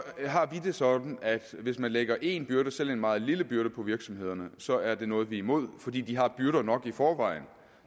har vi det sådan at hvis man lægger en byrde selv en meget lille byrde på virksomhederne så er det noget vi er imod fordi de har byrder nok i forvejen